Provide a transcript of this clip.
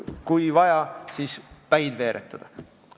Kui vaja, siis tuleb päid veeretada.